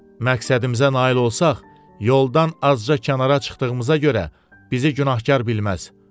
Məqsədimizə nail olsaq, yoldan azca kənara çıxdığımıza görə bizi günahkar bilməz.